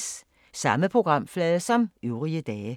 Samme programflade som øvrige dage